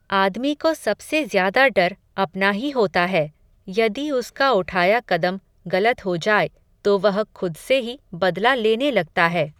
आदमी को सबसे ज़्यादा डर, अपना ही होता है, यदि उसका उठाया कदम, गलत हो जाए, तो वह खुद से ही, बदला लेने लगता है